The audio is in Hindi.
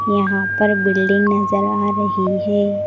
यहां पर बिल्डिंग नजर आ रही है।